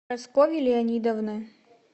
прасковьи леонидовны